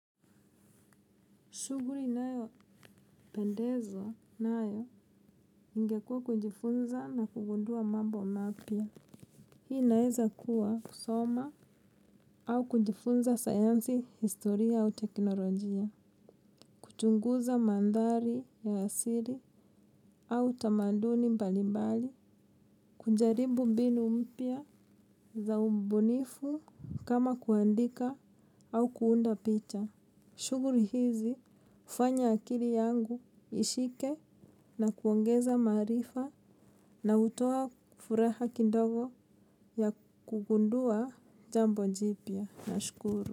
Shughuli nayopendezwa nayo ingekua kujifunza na kugundua mambo mapya. Hii inaezakuwa kusoma au kujifunza sayansi, historia au teknolojia. Kuchunguza mandhari ya asili au tamaduni mbalimbali. Kujaribu mbinu mpya za ubunifu kama kuandika au kuunda picha. Shughuli hizi hufanya akili yangu ishike na kuongeza maarifa na hutoa furaha kidogo ya kugundua jambo jipya. Nashukuru.